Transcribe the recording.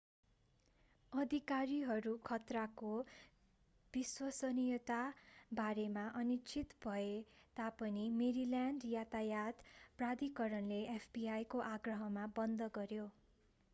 अधिकारीहरू खतराको विश्वसनीयताको बारेमा अनिश्चित भए तापनि मेरील्यान्ड यातायात प्राधिकरणले fbi को आग्रहमा बन्द गर्‍यो।